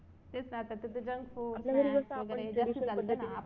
तेच ना आता ते junk food